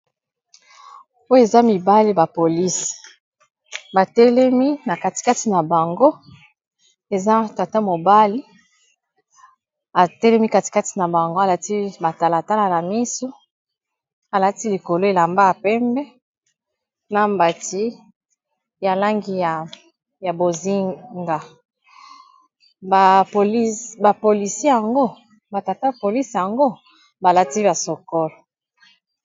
Po eza mibali ba polisi batelemi na katikati na bango eza tata mobali atelemi katikati na bango, alati ba talatala na misu alati likolo elambaka pembe, na mbati ya langi ya boziga ba tata ba polisi yango balati ba sokolo.